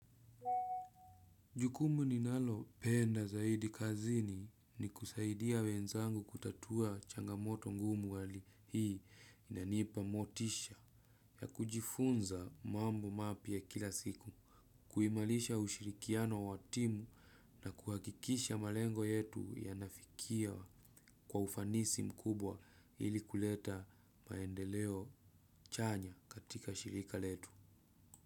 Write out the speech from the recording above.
Jukumu ninalo penda zaidi kazini ni kusaidia wenzangu kutatua changamoto ngumu hali hii inanipa motisha ya kujifunza mambo mapya ya kila siku kuimarisha ushirikiano wa timu na kuhakikisha malengo yetu yanafikia kwa ufanisi mkubwa ili kuleta maendeleo chanya katika shirika letu.